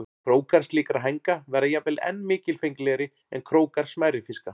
Krókar slíkra hænga verða jafnvel enn mikilfenglegri en krókar smærri fiska.